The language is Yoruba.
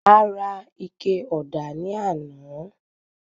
A ra ike ọ̀dà ní àná.